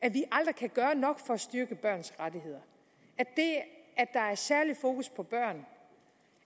at vi aldrig kan gøre nok for at styrke børns rettigheder og særlig fokus på børn